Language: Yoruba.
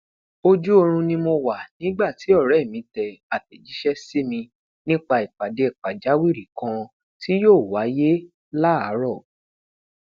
oju oorun ni mo wa nigba ti ọrẹ mi tẹ atẹjiṣẹ simi nipa ipade pajawiri kan tí yóò wáyé láaarọ